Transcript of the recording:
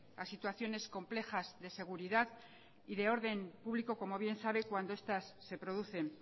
a situaciones complejas de seguridad y de orden público como bien sabe cuando estas se producen